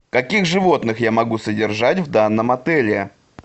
каких животных я могу содержать в данном отеле